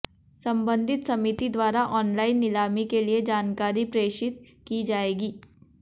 संबंधित समिति द्वारा ऑनलाइन नीलामी के लिए जानकारी प्रेषित की जाएगी